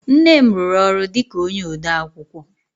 Nne m rụrụ ọrụ dịka onye odeakwụkwọ